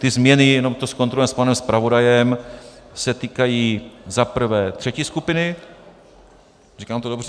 Ty změny, jenom to zkontrolujeme s panem zpravodajem, se týkají za prvé třetí skupiny - říkám to dobře?